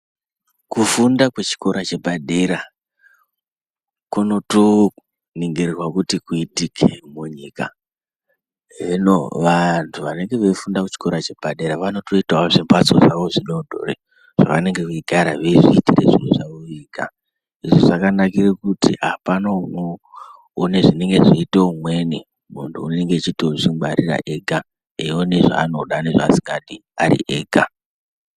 Kufunda kwechikora chepadera kunoto ningirwa kuti kuitike munyika hino vantu vanenge vanofunda chikoro chepadera vanotoita wo zvimbatso zvidodori zvavanenge veigara veizviitira zviro zvavo vega izvizvakanakira kuti hapana unoona zvinoinga zveyitae umweni muntu anenge eiti zvingwarira ega eyiona zvaanoda nezvaasingadi ari ega.